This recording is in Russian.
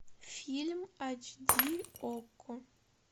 фильм ач ди окко